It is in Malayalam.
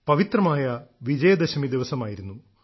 പവിത്രമായ വിജയദശമി ദിവസമായിരുന്നു